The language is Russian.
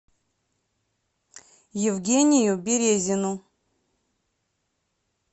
евгению березину